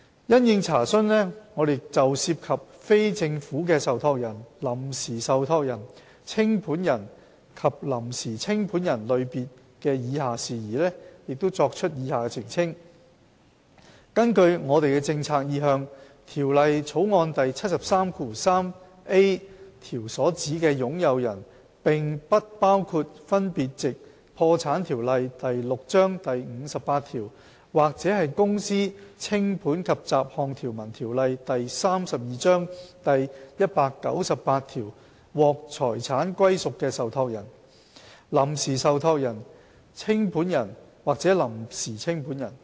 因應查詢，我們就涉及非政府的受託人、臨時受託人、清盤人及臨時清盤人類別的以下事宜，作出以下澄清：根據我們的政策意向，《條例草案》第 733a 條所指的"擁有人"並不包括分別藉《破產條例》第58條或《公司條例》第198條獲財產歸屬的受託人、臨時受託人、清盤人或臨時清盤人。